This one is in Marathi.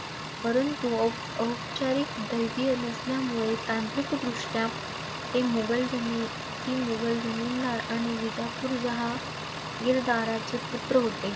परंतु औपऔपचारिक नसल्यामुळे तांत्रिकदृष्टया ते मुघल धनीती मुघल धनींना आणि विजापूर जहाँ गीरदाराचे पुत्र होते.